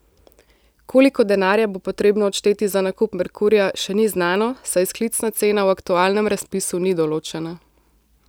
Koliko denarja bo potrebno odšteti za nakup Merkurja, še ni znano, saj izklicna cena v aktualnem razpisu ni določena.